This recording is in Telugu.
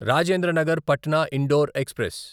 రాజేంద్ర నగర్ పట్నా ఇండోర్ ఎక్స్ప్రెస్